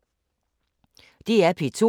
DR P2